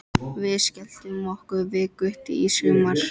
Við skelltum okkur við Gutti í sumar.